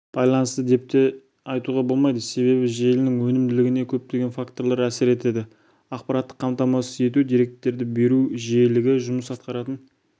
байланысты деп те айтуға болмайды себебі желінің өнімділігіне көптеген факторлар әсер етеді аппараттық қамтамасыз ету деректер беру жиілігі жұмыс атқаратын